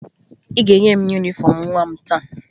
Ị ga-enye m yunifọmụ nwa m taa